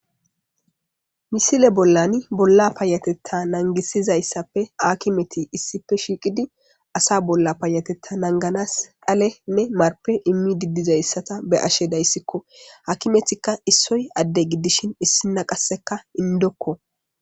Misile bollan bolla paayatetta nangisizayssappe akimeti issife shiiqidi asa bolla paayatetta nanganas dhalenne marpe immi diddizayssata be ashe dayssikko hakimetikka issoy adde giddishin issina qasseka indokko.